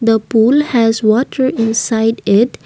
the pool has water inside it.